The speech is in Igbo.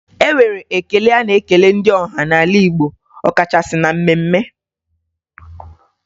E nwere ekele a na-ekele ndị ọha n'ala Igbo ọkachasị na mmemme.